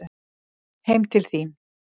Heim til þín